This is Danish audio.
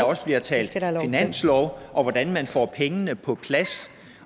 også bliver talt finanslov og hvordan man får pengene på plads